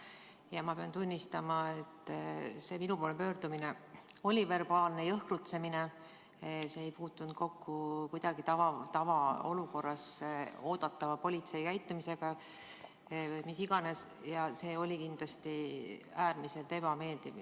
Ja ma pean tunnistama, et see minu poole pöördumine oli verbaalne jõhkrutsemine, see ei puutunud kokku kuidagi tavaolukorras oodatava politsei käitumisega või mis iganes, ja see oli kindlasti äärmiselt ebameeldiv.